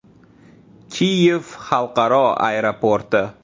Kiyev xalqaro aeroporti.